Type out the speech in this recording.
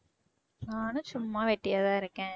நானும் சும்மா வெட்டியா தான் இருக்கேன்